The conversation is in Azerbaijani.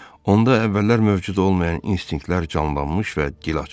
Onda əvvəllər mövcud olmayan instinktlər canlanmış və dil açmışdı.